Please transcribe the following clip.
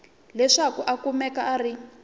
leswaku a kumeka a ri